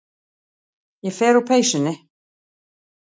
Ég fer úr peysunni.